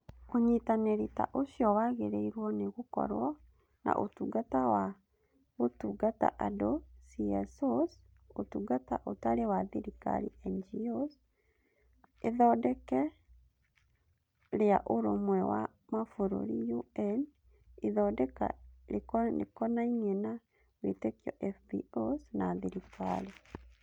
Ũnyitanĩri ta ũcio wagĩrĩirũo nĩ gũkorwo na Ũtungata wa Gũtungata Andũ(CSOs), Ũtungata Ũtarĩ wa Thirikari (NGOs), Ithondeka rĩa Ũrũmwe wa Mabũrũri (UN), Ithondeka Rĩkonainie na Wĩtĩkio (FBOs) na thirikari.